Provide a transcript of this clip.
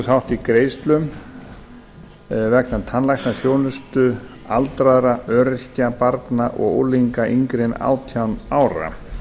þátt í greiðslum vegna tannlæknaþjónustu aldraðra öryrkja barna og unglinga yngri en átján ára